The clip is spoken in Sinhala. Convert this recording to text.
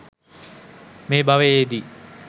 මේ භවයේදී